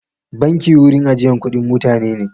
Banki wurin ajiyan kuɗin mutane ne.